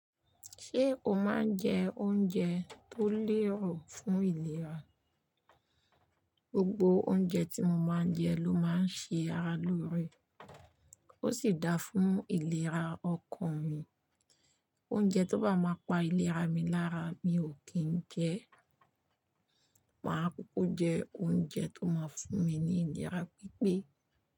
Ṣé o máa ń jẹ oúnjẹ tó lẹ́rù fún ìlera? Gbogbo oúnjẹ tí mo máa ń jẹ ló máa ń ṣe ara lóore, ó sì da fún ìlera ọkàn mi. Oúnjẹ tó bá máa pa ìlera mi lára mi ò kín ń jẹ ẹ́. Maá kúkú jẹ oúnjẹ tó máa ń fún mi ní ìlera pípé.